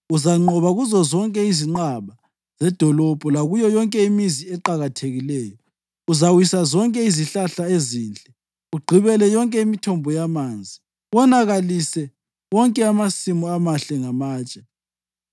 Uzanqoba kuzozonke izinqaba zedolobho lakuyo yonke imizi eqakathekileyo. Uzawisa zonke izihlahla ezinhle, ugqibele yonke imithombo yamanzi, wonakalise wonke amasimu amahle ngamatshe.”